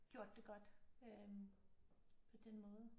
Gjort det godt øh på den måde